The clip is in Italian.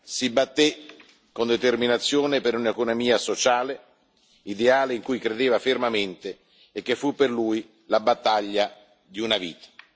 Si batté con determinazione per un'economia sociale, ideale in cui credeva fermamente e che fu per lui la battaglia di una vita.